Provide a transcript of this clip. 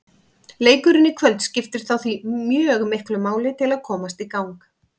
Leikurinn í kvöld skiptir þá því mjög miklu máli til að komast í gang.